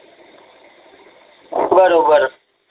बरोबर